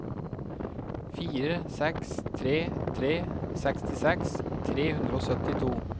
fire seks tre tre sekstiseks tre hundre og syttito